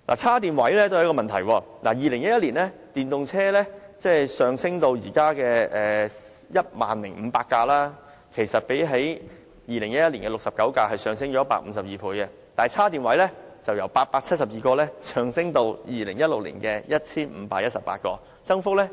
充電位也是一個問題，電動車數目由2011年的69輛上升至現時的 10,500 輛，增幅152倍，充電位則由872個上升至2016年的 1,518 個，增幅僅